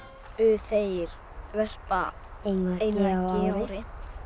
þeir verpa einu eggi á ári